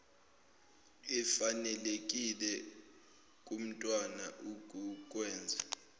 efanelekile kumntwana ukukwenza